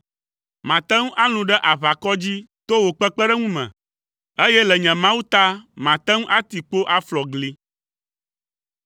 Mate ŋu alũ ɖe aʋakɔ dzi to wò kpekpeɖeŋu me, eye le nye Mawu ta mate ŋu ati kpo aflɔ gli.